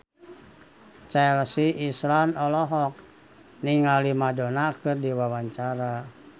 Chelsea Islan olohok ningali Madonna keur diwawancara